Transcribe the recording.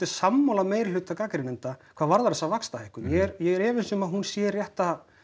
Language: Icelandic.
sammála meirihluta gagnrýnenda hvað varðar þessa vaxtahækkun ég er efins um að hún sé rétta